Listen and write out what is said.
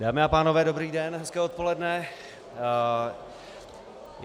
Dámy a pánové, dobrý den, hezké odpoledne.